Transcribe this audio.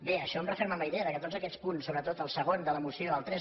bé això em referma en la idea que en tots aquests punts sobretot el segon de la moció el tres